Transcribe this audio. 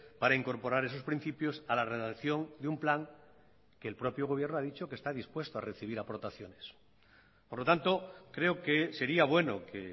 para incorporar esos principios a la redacción de un plan que el propio gobierno ha dicho que está dispuesto a recibir aportaciones por lo tanto creo que sería bueno que